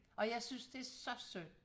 Og jeg synes det så synd